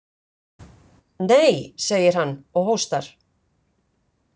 Nei, segir hann og hóstar.